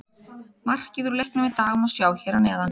Markið úr leiknum í dag má sjá hér að neðan